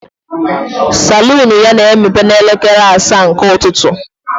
Salon ya na-emepe n'elekere asaa nke ụtụtụ.